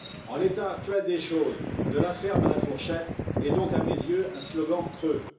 En l'état actuel des choses, de la ferme à la fourchette est donc, à mes yeux, un slogan creux.